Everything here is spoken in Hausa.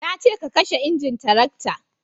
na ce ka kashe injin tarakta